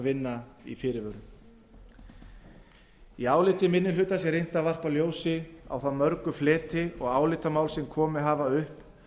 vinna að fyrirvörum í nefndaráliti þessu er reynt að varpa ljósi á þá mörgu fleti og álitamál sem komið hafa upp